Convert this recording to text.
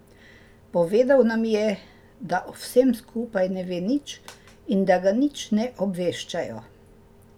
Povedal nam je, da o vsem skupaj ne ve nič in da ga nič ne obveščajo.